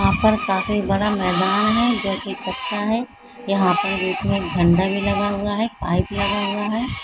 यहाँ पर काफी बड़ा मैदान है जो कि कच्चा है यहाँ पर बीच में एक झंडा भी लगा हुआ है पाइप लगा हुआ है।